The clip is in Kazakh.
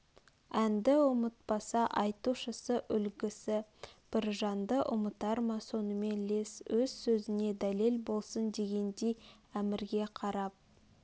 әнді ұмытпаса айтушысы үлгісі біржанды ұмытар ма сонымен лес өз сөзне дәлел болсын дегендей әмірге қарап